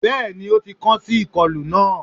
bẹẹni, o ti kan si ikolu naa